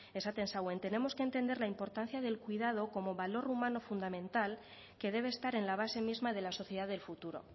esaten zauen tenemos que entender la importancia del cuidado como valor humano fundamental que debe estar en la base misma de la sociedad del futuro